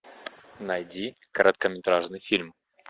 найди короткометражный фильм